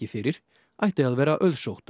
fyrir ætti að vera